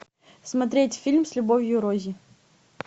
смотреть фильм с любовью рози